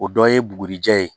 O dɔ ye bugurijɛ ye